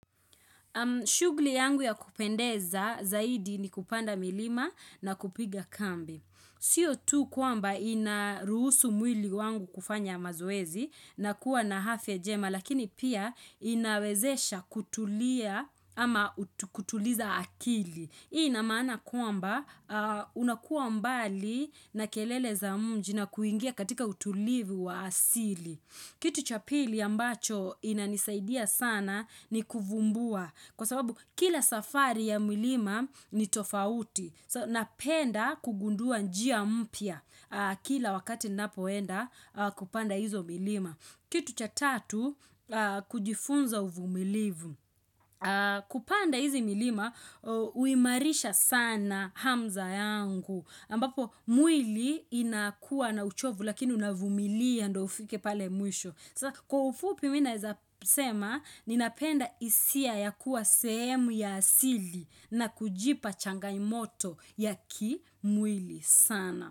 Shugli yangu ya kupendeza zaidi ni kupanda milima na kupiga kambi. Sio tu kwamba inaruhusu mwili wangu kufanya mazoezi na kuwa na afya njema lakini pia inawezesha kutulia ama kutuliza akili. Hii ina maana kwamba unakuwa mbali na kelele za mji na kuingia katika utulivi wa asili. Kitu cha pili ambacho inanisaidia sana ni kuvumbua. Kwa sababu kila safari ya milima ni tofauti. Napenda kugundua njia mpya kila wakati ninapoenda kupanda izo milima. Kitu cha tatu, kujifunza uvumilivu. Kupanda hizi milima, huimarisha sana hamza yangu. Ambapo, mwili inakuwa na uchovu lakini unavumilia ndio ufike pale mwisho. Kwa ufupi mi naeza sema, ninapenda isia ya kuwa sehemu ya asili na kujipa changamoto ya kimwili sana.